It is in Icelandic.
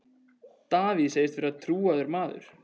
Davíð segist vera trúaður maður.